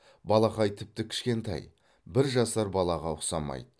балақай тіпті кішкентай бір жасар балаға ұқсамайды